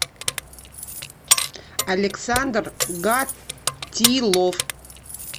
александр гатилов